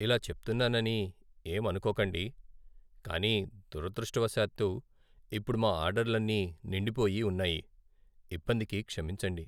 ఇలా చెప్తున్నానని ఏం అనుకోకండి, కానీ దురదృష్టవశాత్తు, ఇప్పుడు మా ఆర్డర్లన్నీ నిండిపోయి ఉన్నాయి. ఇబ్బందికి క్షమించండి.